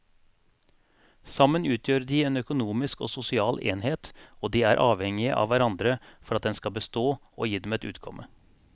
Sammen utgjør de en økonomisk og sosial enhet og de er avhengige av hverandre for at den skal bestå og gi dem et utkomme.